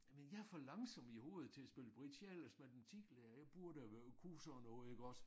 Men jeg er for langsom i hovedet til at spille bridge jeg er ellers matematiklærer jeg burde have været kunne sådan noget iggås